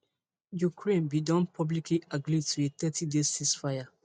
ukraine bin don publicly agree to a thirtyday ceasefire